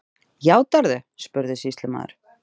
Játarðu, spurði sýslumaður.